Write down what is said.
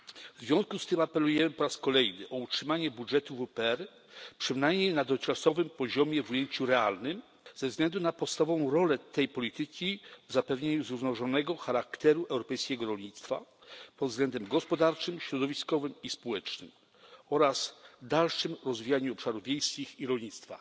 W związku z tym apelujemy po raz kolejny o utrzymanie budżetu WPR przynajmniej na dotychczasowym poziomie w ujęciu realnym ze względu na podstawową rolę tej polityki w zapewnieniu zrównoważonego charakteru europejskiego rolnictwa pod względem gospodarczym, środowiskowym i społecznym oraz dalszym rozwijaniu obszarów wiejskich i rolnictwa.